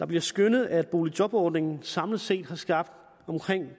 bliver skønnet at boligjobordningen samlet set har skabt omkring